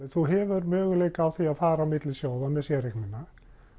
þú hefur möguleika á því að fara á milli sjóða með séreignina